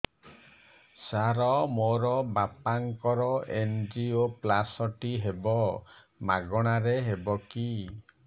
ସାର ମୋର ବାପାଙ୍କର ଏନଜିଓପ୍ଳାସଟି ହେବ ମାଗଣା ରେ ହେବ କି